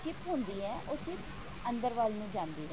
chip ਹੁੰਦੀ ਹੈ ਉਹ chip ਅੰਦਰ ਵੱਲ ਨੂੰ ਜਾਂਦੀ ਹੈ